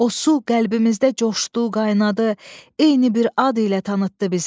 O su qəlbimizdə coşdu, qaynadı, eyni bir ad ilə tanıtdı bizi.